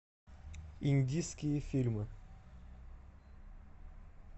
индийские фильмы